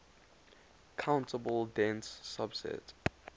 countable dense subset